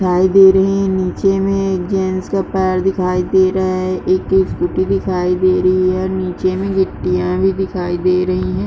दिखाई दे रही है नीचे में एक जेंट्स का पैर दिखाई दे रहा है एक स्कूटी दिखाई दे रही है नीचे में गिट्टियां भी दिखाई दे रही हैं।